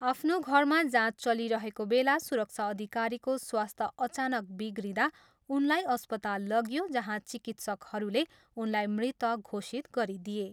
आफ्नो घरमा जाँच चलिरहेको बेला सुरक्षा अधिकारीको स्वस्थ्य अचानक बिग्रिँदा उनलाई अस्पताल लगियो जहाँ चिकित्सकहरूले उनलाई मृत घोषित गरिदिए।